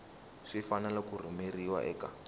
swi fanele ku rhumeriwa eka